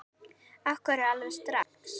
Af hverju alveg strax?